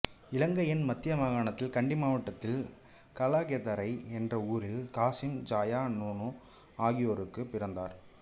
இலங்கையின் மத்திய மாகாணத்தில் கண்டி மாவட்டத்தில் கலகெதரை என்ற ஊரில் காசிம் ஜாயா நோனா ஆகியோருக்குப் பிறந்தார்